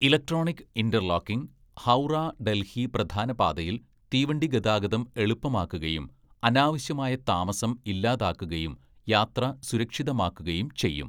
"Electronic interlocking Howrah Delhi പ്രധാന പാതയില്‍ തീവണ്ടി ഗതാഗതം എളുപ്പമാക്കുകയും അനാവശ്യമായ താമസം ഇല്ലാതാക്കുകയും യാത്ര സുരക്ഷിതമാക്കുകയും ചെയ്യും. "